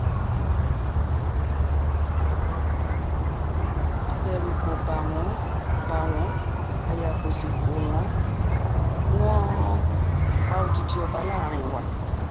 ẹ̀rù kò ba wọn ba wọn aya kó sì kó wọn wọn pa odidi ọba láàrin wa